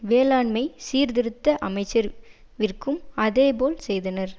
வேளாண்மை சீர்திருத்த அமைச்சர் விற்கும் அதேபோல செய்தனர்